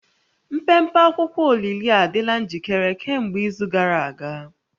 Mpempe akwụkwọ olili a adịla njikere kemgbe izu gara aga